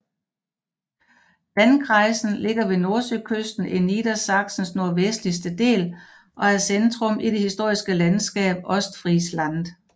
Landkreisen ligger ved Nordsøkysten i Niedersachsens nordvestlige del og er centrum i det historiske landskab Ostfriesland